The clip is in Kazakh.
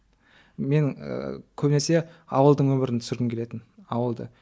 мен ыыы көбінесі ауылдың өмірін түсіргім келетін ауылды